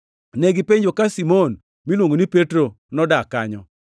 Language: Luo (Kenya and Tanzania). Negipenjo ka Simon miluongo ni Petro nodak kanyo.